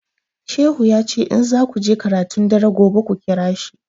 Shehu ya ce in zaku je karatun dare gobe ku ƙira shi